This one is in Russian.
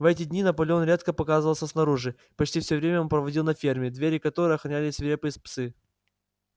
в эти дни наполеон редко показывался снаружи почти все время он проводил на ферме двери которой охраняли свирепые псы